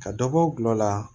Ka dɔ bɔ gulɔ la